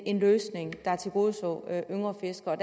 en løsning der tilgodeså yngre fiskere